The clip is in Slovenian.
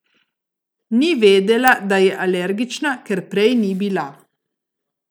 Ni vedela, da je alergična, ker prej ni bila.